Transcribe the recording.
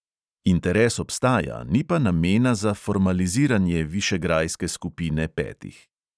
Interes obstaja, ni pa namena za formaliziranje višegrajske skupine petih.